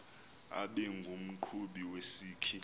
abe ngumqhubi wesikhi